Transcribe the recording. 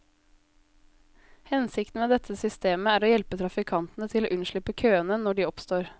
Hensikten med dette systemet er å hjelpe trafikantene til å unnslippe køene, når de oppstår.